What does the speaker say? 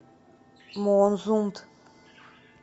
моонзунд